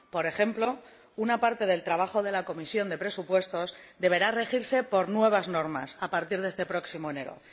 por ejemplo, una parte del trabajo de la Comisión de Presupuestos deberá regirse por nuevas normas a partir de este próximo enero.